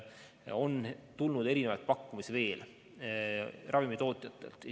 On tulnud ka muid pakkumisi ravimitootjatelt.